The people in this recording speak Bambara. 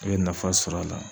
I be nafa sɔrɔ a la.